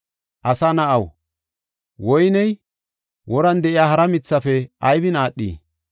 “Asa na7aw, woyney woran de7iya hara mithafe aybin aadhii?